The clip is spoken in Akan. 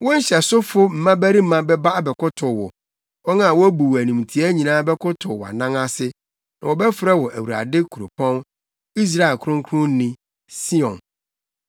Wo nhyɛsofo mmabarima bɛba abɛkotow wo; wɔn a wobu wo animtiaa nyinaa bɛkotow wʼanan ase na wɔbɛfrɛ wo Awurade Kuropɔn, Israel Kronkronni, Sion.